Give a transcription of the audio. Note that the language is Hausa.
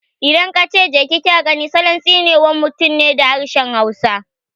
Idan aka ce "Je ki kya gani" salon tsine wa mutum ne da harshen hausa